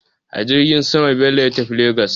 A jirgin sama Bello ya tafi Legas.